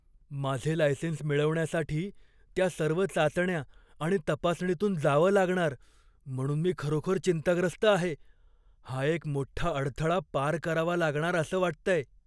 माझे लायसेन्स मिळवण्यासाठी त्या सर्व चाचण्या आणि तपासणीतून जावं लागणार म्हणून मी खरोखर चिंताग्रस्त आहे. हा एक मोठ्ठा अडथळा पार करावा लागणार असं वाटतय.